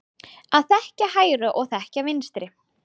Að þekkja hægri og þekkja vinstri.